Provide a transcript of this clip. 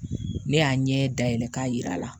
Ne y'a ɲɛ da yɛlɛ k'a yir'a la